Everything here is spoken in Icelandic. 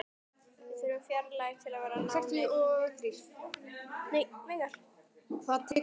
Við þurfum fjarlægð til að vera nánir.